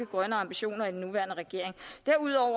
grønne ambitioner i den nuværende regering derudover